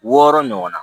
Wɔɔrɔ ɲɔgɔn na